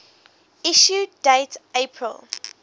issue date april